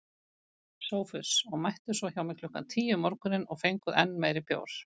SOPHUS: Og mættuð svo hjá mér klukkan tíu um morguninn og fenguð enn meiri bjór.